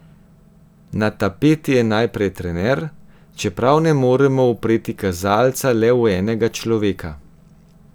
Na tapeti je najprej trener, čeprav ne moremo upreti kazalca le v enega človeka.